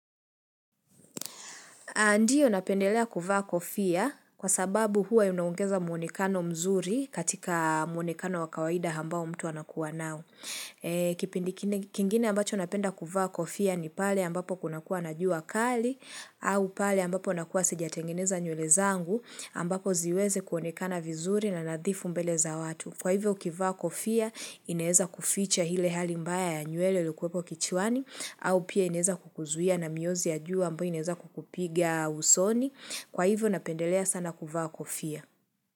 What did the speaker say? Ndio napendelea kuvaa kofia kwa sababu huwa inaongeza muonekano mzuri katika muonekano wa kawaida ambao mtu anakuwa nao. Kingine ambacho napenda kuvaa kofia ni pale ambapo kunakua na juu kali, au pale ambapo nakuwa sejatengeneza nywele zangu ambapo ziweze kuonekana vizuri na nadhifu mbele za watu. Kwa hivyo ukivaa kofia, inaweza kuficha ile hali mbaya ya nywele ilokuweko kichwani, au pia inaweza kukuzuia na miozi ya jua ambayo inaweza kukupiga usoni. Kwa hivyo napendelea sana kuvaa kofia.